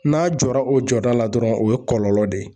N'a jɔra o jɔda la dɔrɔn o ye kɔlɔlɔ de ye